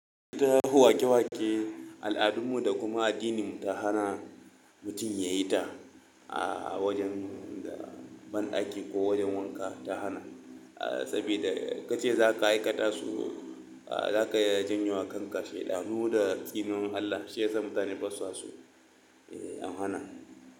Ta yi wake-wake al'adunmu da kuma addininmu ta hana mutum yayi ta a wajen banɗaki ko wajen wanka ta hana. Saboda in ka ce za ka aikata su, za ka janyo wa kanka sheɗanu da tsinuwar Allah. Shi yasa mutane basu so. Eh an hana.